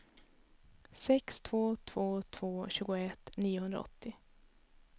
sex två två två tjugoett niohundraåttio